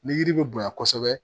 Ni yiri bɛ bonya kosɛbɛ